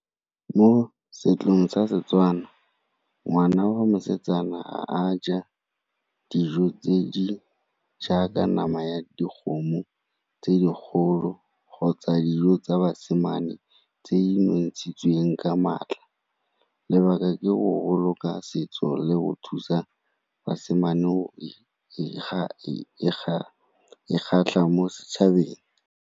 Mo setsong sa Setswana ngwana wa mosetsana ga a ja dijo tse di jaaka nama ya dikgomo tse di kgolo kgotsa dijo tsa basimane tse di nontshitsweng ka maatla. Lebaka ke go boloka setso le go thusa basimane go mo setšhabeng.